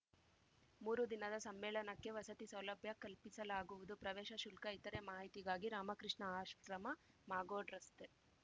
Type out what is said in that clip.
ಮೂರೂ ದಿನದ ಸಮ್ಮೇಳನಕ್ಕೆ ವಸತಿ ಸೌಲಭ್ಯ ಕಲ್ಪಿಸಲಾಗುವುದು ಪ್ರವೇಶ ಶುಲ್ಕ ಇತರೇ ಮಾಹಿತಿಗಾಗಿ ರಾಮಕೃಷ್ಣ ಆಶ್ರಮ ಮಾಗೋಡ್‌ ರಸ್ತೆ